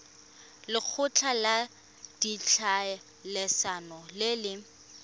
lekgotla la ditlhaeletsano le le